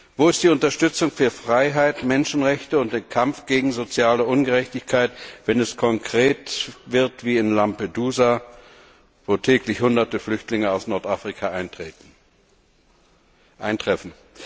Wo ist die Unterstützung für Freiheit, Menschenrechte und den Kampf gegen soziale Ungerechtigkeit, wenn es konkret wird wie in Lampedusa, wo täglich Hunderte Flüchtlinge aus Nordafrika eintreffen?